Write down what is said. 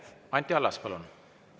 Anti Allas, palun!